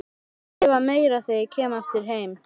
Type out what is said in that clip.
Skrifa meira þegar ég kem aftur heim.